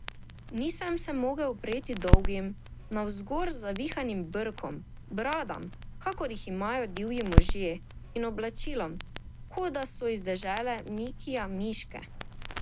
Nisem se mogel upreti dolgim, navzgor zavihanim brkom, bradam, kakor jih imajo divji možje, in oblačilom, kot da so iz dežele Mikija Miške.